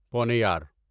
پونیار